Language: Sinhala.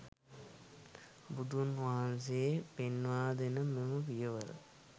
බුදුන් වහන්සේ පෙන්වා දෙන මෙම පියවර